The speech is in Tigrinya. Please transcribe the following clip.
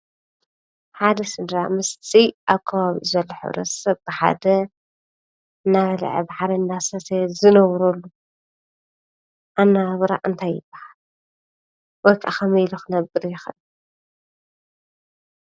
ሓደ ስድራ ምስቲ ኣብ ከባቢኡ ዘሎ ሕ/ሰብ ብሓደ እናበልዐ ብሓደ እንዳሰተየ ዝነብረሉ ኣነባብራ እንታይ ይባሃል? ወይከዓ ከመይ ኢሉ ክነብር ይክአል?